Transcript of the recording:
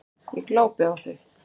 Ég glápi á þau.